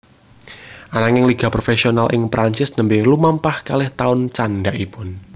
Ananging liga profesional ing Prancis nembé lumampah kalih taun candhakipun